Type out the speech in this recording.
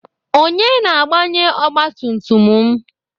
Onye na-agbanye ọgbatumtum m?